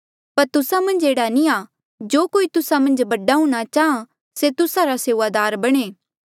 पर तुस्सा मन्झ एह्ड़ा नी आ जो कोई तुस्सा मन्झ बडा हूंणां चाहां से तुस्सा रा सेऊआदार बणे